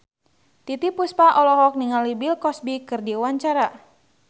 Titiek Puspa olohok ningali Bill Cosby keur diwawancara